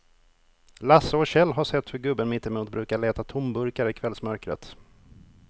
Lasse och Kjell har sett hur gubben mittemot brukar leta tomburkar i kvällsmörkret.